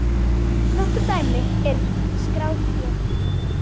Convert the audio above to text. Nokkur dæmi er skráð hér